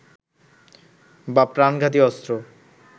বা প্রাণঘাতী অস্ত্র